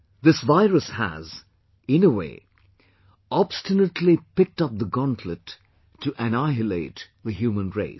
This virus has, in a way, obstinately picked up the gauntlet to annihilate the human race